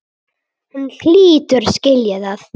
Hann hlýtur að skilja það.